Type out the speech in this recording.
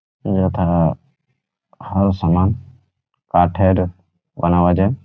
যেথা-আ হার সামান কাঠের বানাবা যে--